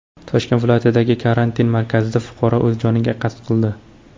Toshkent viloyatidagi karantin markazida fuqaro o‘z joniga qasd qildi.